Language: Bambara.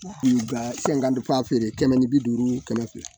fɛn ka fa feere kɛmɛ ni bi duuru kɛmɛ fila